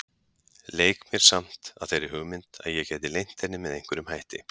Leik mér samt að þeirri hugmynd að ég geti leynt henni með einhverjum hætti.